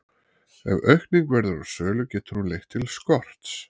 Ef aukning verður á sölu getur hún leitt til skorts.